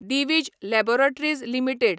Divij laboratories limited